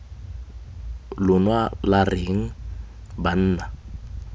lona lwa re eng banna